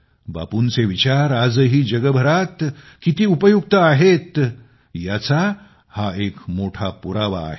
बापूंचे विचार आजही जगभरात किती उपयुक्त आहेत याचा हा एक मोठा पुरावा आहे